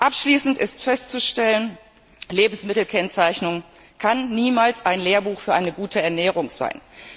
Abschließend ist festzustellen, Lebensmittelkennzeichnung kann niemals ein Lehrbuch für eine gute Ernährung sein.